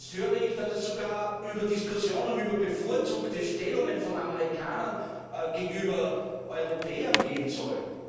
Und jetzt höre ich, dass es sogar Diskussionen über bevorzugte Stellungen von Amerikanern gegenüber Europäern geben soll!